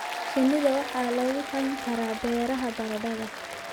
Shinida waxaa lagu hayn karaa beeraha baradhada.